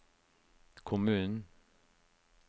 kommunen